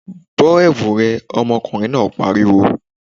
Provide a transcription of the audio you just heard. Bọ́ ẹ̀wu rẹ! ọmọkùnrin náà pariwo.